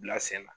Bila sen na